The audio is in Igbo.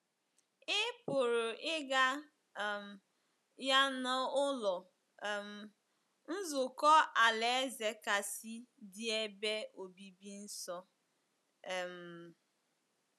Ị pụrụ ịga um ya n’Ụlọ um Nzukọ Alaeze kasị dị ebe obibi nso. um